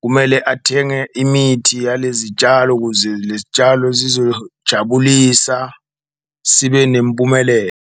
kumele athenge imithi yalezi tshalo, ukuze lezi tshalo zizojabulisa sibe .